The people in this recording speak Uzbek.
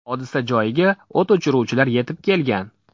Hodisa joyiga o‘t o‘chiruvchilar yetib kelgan.